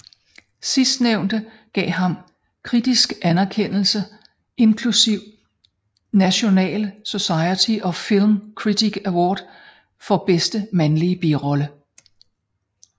Sidstnævnte gav ham kritisk anerkendelse inklusiv National Society of Film Critics Award for bedste mandlige birolle